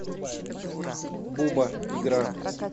буба игра